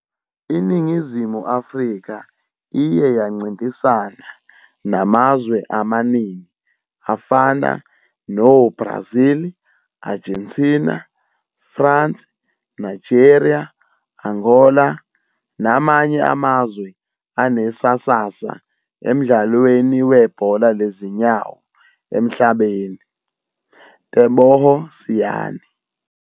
Iningizimu Afrika iye yancintisana namazwe amaningi afana no-Brazil, Argentina, France, Nigeria, Angola, namanye amazwe anesasasa emdlalweni webhola lezinyawo emhlabeni.teboho siani